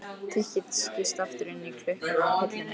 Tikkið skýst aftur inn í klukkuna á hillunni.